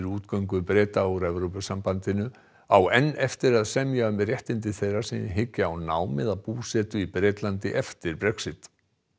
útgöngu Breta úr Evrópusambandinu á enn eftir að semja um réttindi þeirra sem hyggja á nám eða búsetu í Bretlandi eftir Brexit